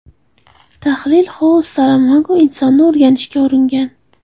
Tahlil Xose Saramago insonni o‘rganishga uringan.